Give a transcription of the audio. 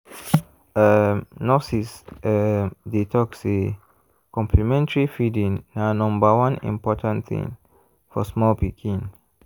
um nurses um dey talk say complementary feeding na number one important thing for small pikin.